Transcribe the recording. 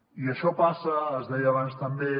i això passa es deia abans també